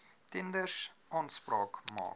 tenders aanspraak maak